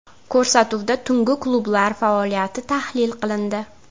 Ko‘rsatuvda tungi klublar faoliyati tahlil qilindi.